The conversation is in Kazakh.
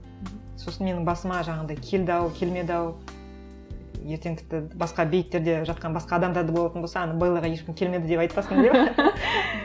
сосын менің басыма жаңағындай келді ау келмеді ау ертең тіпті басқа бейіттерде жатқан басқа адамдар да болатын болса ана беллаға ешкім келмеді деп айтпасын деп